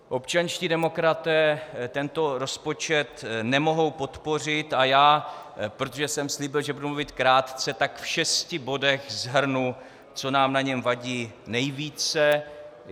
Občanští demokraté tento rozpočet nemohou podpořit a já, protože jsem slíbil, že budu mluvit krátce, tak v šesti bodech shrnu, co nám na něm vadí nejvíce.